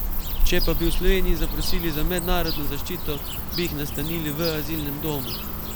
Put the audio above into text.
Če pa bi v Sloveniji zaprosili za mednarodno zaščito, bi jih nastanili v azilnem domu.